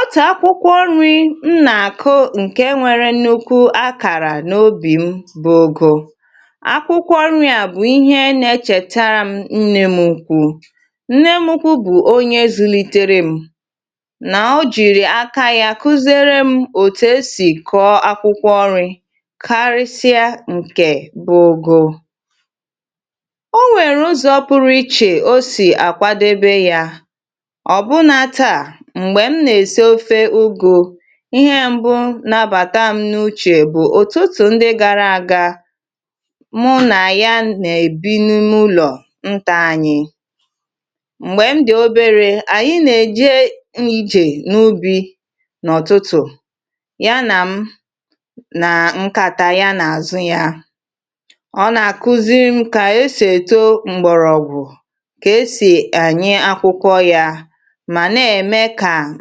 ótá ákwúkwọ́ ńrí nnààkọ́ ǹkè nwèrè nnukwu ákàrà n’òbì m bụ́ ógò akwúkwọ́ nri̇ à bụ̀ íhé nà é chètàrà m nnė m ukwuu nne m ukwú bụ̀ ónyé zùlítèrè m nà ójìrì áká yá kụ́zere m òtù esì kọ́ọ́ akwụkwọ́ ọri karịsịa ǹkè bụ́ ógò o nwèrè ụzọ̀ pụrụ́ ichè o sì àkwadebe yȧ ihe mbụ nabàta m n’uchè bụ̀ ụ̀tụtụ ndị gara aga mụ nà ya nà-èbi n’ụlọ̀ ntȧ anyị m̀gbè m dị̀ oberė ànyị nà-èje n’ijè n’ubì n’ọ̀tụtụ̀ ya na m nà nkàta ya nà àzụ yȧ ọ nà-àkụzim kà esì èto mgbọ̀rọ̀gwụ̀ kà esì ànyị akwụkwọ yȧ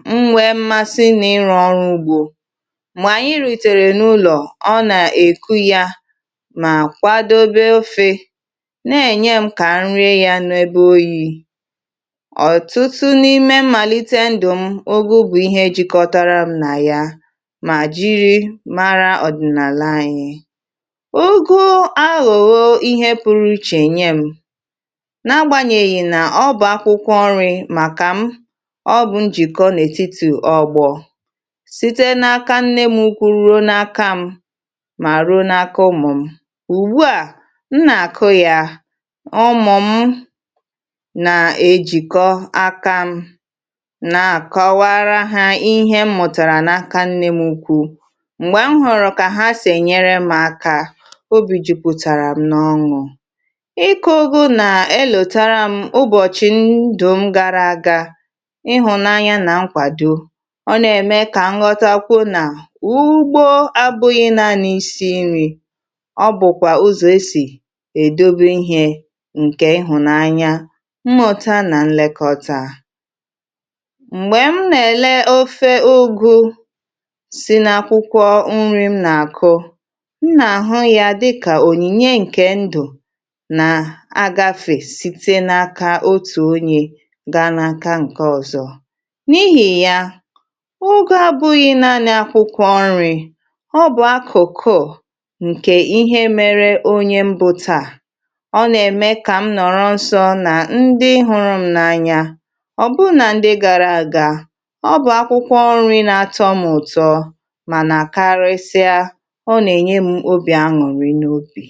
mgbe mmasi nà ịrọ̇ ọrụ ugbȯ mà ànyị rìtèrè n’ụlọ̀ ọ nà-èku ya mà kwàdobe ofė nà-ènye m kà nri ya n’ebe oyi̇ ọ̀tụtụ n’ime mmàlite ndụ̀ m ogė bụ̀ ihe ejikọtara m nà ya mà jìrì mara ọ̀dị̀nàlà anyị̀ ugu ahùhò ihe pụrụ ichè ènye m na-agbanyèghì nà ọ bụ̀ akwụkwọ ọrị̇ màkà m síte n’aka nne m ukwu ruo n’aka m mà ruo n’aka ụmụ̀ m ùgbu à m nà-àkụ yà ọmụ̀ m nà-ejìkọ akȧ m na-àkọwara hȧ ihe m̀mụ̀tàrà n’aka nne m ukwu̇ m̀gbè m hụ̀rụ̀ kà ha sì ènyere m ȧkȧ obì jìpụ̀tàrà m n’ọṅụ̇ ọ na-ème kà nghọtakwụ nà ugbo abụghị na n’isi nri ọ bụ̀kwà ụzọ̀ e sì è dobo ihė ǹkè ihụ̀nanya mmụ̇ta nà nlekọta m̀gbè m nà-èle ofė ogȯ si n’akwụkwọ nri̇ m nà-àkụ m nà-àhụ ya dịkà ònyìnye ǹkè ndụ̀ nà agafè site n’aka otù onye gaa n’aka ǹke ọ̀zọ ogė abụghị naanị̇ akwụkwọ nri ọ bụ̀ akụ̀kụ ǹkè ihe mere onye mbùtà ọ nà-ème kà m nọ̀rọ nsọ nà ndị ịhụrụ m n’anya ọbụrụ nà ndị gàrà àgà ọ bụ̀ akwụkwọ nri̇ na-atọ m ụ̀tọ mànà karịsịa ọ nà-ènye m obì aṅụ̀rị n’obì.